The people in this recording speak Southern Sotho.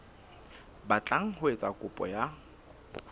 batlang ho etsa kopo ya